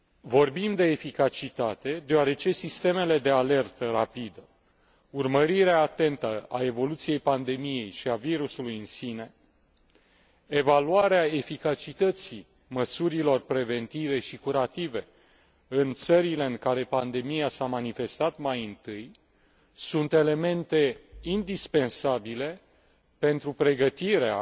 Vorbim de eficacitate deoarece sistemele de alertă rapidă, urmărirea atentă a evoluției pandemiei și a virusului în sine, evaluarea eficacității măsurilor preventive și curative în țările în care pandemia s a manifestat mai întâi sunt elemente indispensabile pentru pregătirea